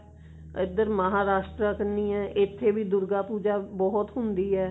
ਇੱਧਰ ਮਹਾਰਾਸ਼ਟਰਾ ਕੰਨੀ ਹੈ ਇੱਥੇ ਵੀ ਦੁਰਗਾ ਪੁੱਜਾ ਬਹੁਤ ਹੁੰਦੀ ਹੈ